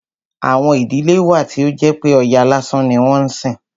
Àwọn ìdílé wà tí ó jẹ́ pé Ọya lásán ni wọ́n ń sìn.